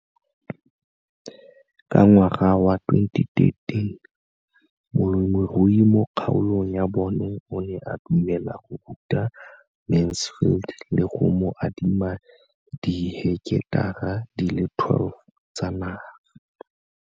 Ka ngwaga wa 2013, molemirui mo kgaolong ya bona o ne a dumela go ruta Mansfield le go mo adima di heketara di le 12 tsa naga.